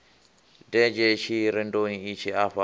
denzhe tshirendoni itshi afha lo